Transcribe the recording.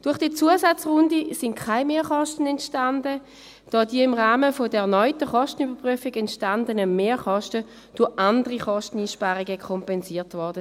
Durch diese Zusatzrunde entstanden keine Mehrkosten, da die im Rahmen der erneuten Kostenüberprüfung entstandenen Mehrkosten durch andere Kosteneinsparungen kompensiert wurden.